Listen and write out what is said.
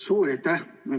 Suur aitäh!